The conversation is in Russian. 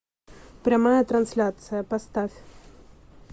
прямая трансляция поставь